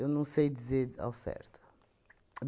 não sei dizer ao certo.